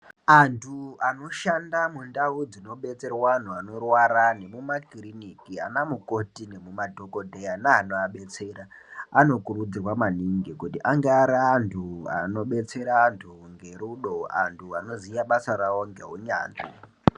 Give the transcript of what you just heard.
Antu anoshanda mundau dzinobetserwa anhu anorwara nemumakiriniki anamukoti nemadhokodheya neanoabetsera anokurudzirwa maningi kuti anga arianhu anobetsera anhu ngerudo, anhu anoziya basa ravo ngeunyanzvi.